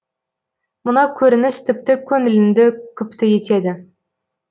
мына көрініс тіпті көңіліңді күпті етеді